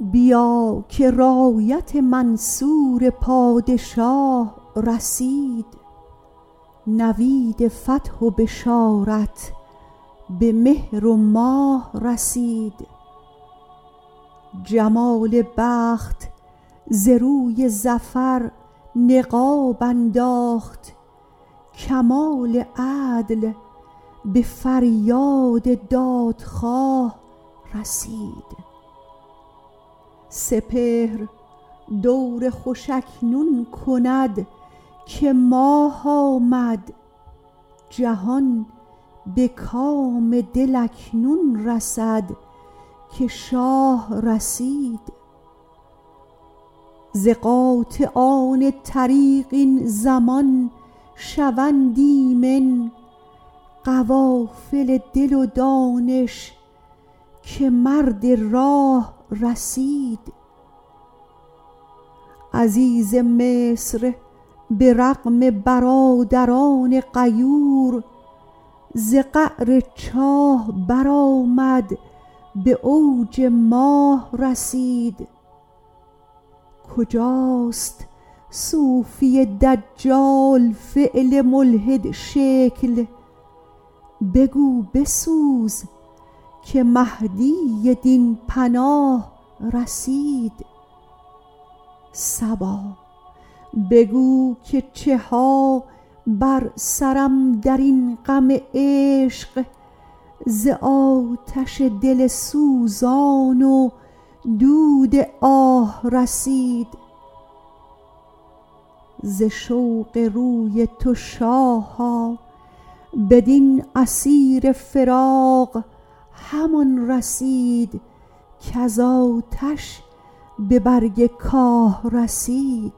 بیا که رایت منصور پادشاه رسید نوید فتح و بشارت به مهر و ماه رسید جمال بخت ز روی ظفر نقاب انداخت کمال عدل به فریاد دادخواه رسید سپهر دور خوش اکنون کند که ماه آمد جهان به کام دل اکنون رسد که شاه رسید ز قاطعان طریق این زمان شوند ایمن قوافل دل و دانش که مرد راه رسید عزیز مصر به رغم برادران غیور ز قعر چاه برآمد به اوج ماه رسید کجاست صوفی دجال فعل ملحدشکل بگو بسوز که مهدی دین پناه رسید صبا بگو که چه ها بر سرم در این غم عشق ز آتش دل سوزان و دود آه رسید ز شوق روی تو شاها بدین اسیر فراق همان رسید کز آتش به برگ کاه رسید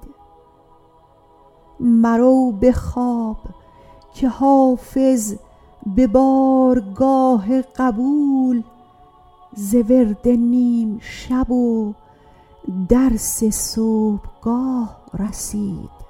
مرو به خواب که حافظ به بارگاه قبول ز ورد نیم شب و درس صبحگاه رسید